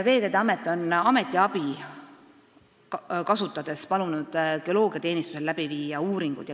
Veeteede Amet on palunud Eesti Geoloogiateenistusel teha sellekohaseid uuringuid.